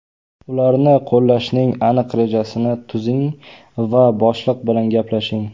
Ularni qo‘llashning aniq rejasini tuzing va boshliq bilan gaplashing.